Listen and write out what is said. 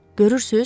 Görürsüz?